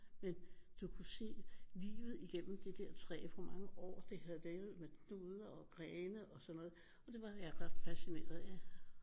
Men du kunne se livet igennem det der træ hvor mange år det havde levet med knuder og grene og sådan noget og det var jeg ret fascineret af